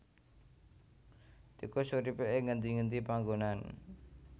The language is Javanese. Tikus uripé ing ngendi ngendi panggonan